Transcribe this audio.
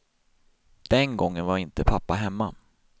Den gången var inte pappa hemma.